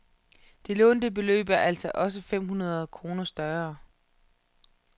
Det lånte beløb er altså også fem hundrede kroner større.